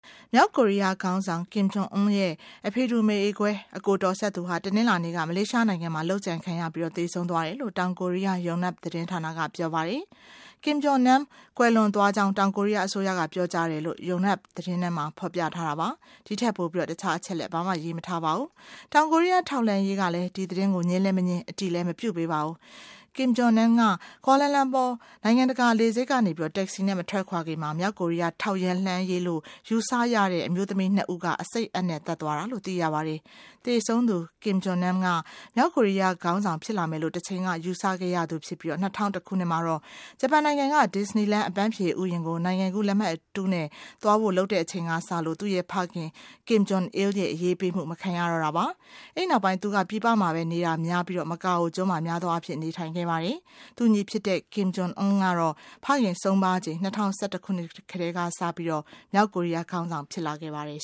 မြောက်ကိုရီးယားခေါင်းဆောင် Kim Jong Un အဖေတူ အမေကွဲ ညီအကိုတော်စပ်သူဟာ တနင်္လာနေ့က မလေးရှားနိုင်ငံမှာ လုပ်ကြံခံရပြီး သေဆုံးသွားတယ်လို့ တောင်ကိုရီးယား Yonhap သတင်းဌာနက ပြောပါတယ်။ Kim Jong Nam ကွယ်လွန်သွားကြောင်း တောင်ကိုရီးယား အစိုးရက ပြောကြားတယ်လို့ Yonhap သတင်းမှာ ဖော်ပြပါတယ်။ ဒီထက်ပိုပြီး ဘာမှ မသိရပါဘူး။ တောင်ကိုရီးယား ထောက်လှမ်းရေး ကလည်း ဒီသတင်းကို ငြင်းလည်းမငြင်း အတည်လည်း မပြုပေးပါဘူး။ Kim Jong Nam က Kuala Lumpur နိုင်ငံတကာလေဆိပ်ကနေ Taxi နဲ့ မထွက်ခွာခင် မြောက်ကိုရီးယားထောက်လှမ်းရေးလို့ ယူဆတဲ့ရတဲ့ အမျိုးသမီး ၂ ဦးက အဆိပ်အပ်နဲ့ သတ်သွားတာလို့ သိရပါတယ်။ သေဆုံးသူ Kim Jong Nam မြောက်ကိုရီးယားခေါင်းဆောင်ဖြစ်လာမယ်လို့ တချိန်က ယူဆခဲ့ရသူဖြစ်ပြီး ၂၀၀၁ ခုနှစ်မှာ Japan နိုင်ငံက Disneyland အပန်းဖြေဥယာဉ်ကို နိုင်ငံကူးလက်မှတ်အတုနဲ့ သွားဖို့လုပ်တဲ့အချိန်ကစပြီး သူ့ဖခင် Kim Jong Il ရဲ့ အရေးပေးမှု မခံရတော့တာပါ။ အဲဒီနောက်ပိုင်း သူက ပြည်ပမှာပဲ နေနေပြီး များသောအားဖြင့် မကာအိုကျွန်း မှာ နေထိုင်နေခဲ့ပါတယ်။ သူ့ညီဖြစ်သူ Kim Jong Un ကတော့ ဖခင်ဆုံးပါးချိန် ၂၀၁၁ ခုနှစ်က တည်းက မြောက်ကိုရီးယားခေါင်းဆောင် ဖြစ်လာ ခဲ့ပါတယ်